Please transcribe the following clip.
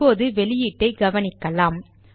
இப்போது வெளியீட்டை கவனிக்கலாம்